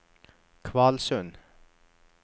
Kvalsund